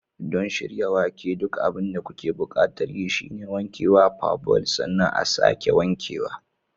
Don shirya wake, duk abin da kuke buƙatar yi shine wankewa, parboil, sannan a'sake wankewa.